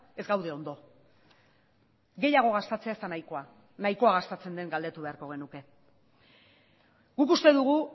ez gaude ondo gehiago gastatzea ez da nahikoa nahikoa gastatzen den galdetu beharko genuke guk uste dugu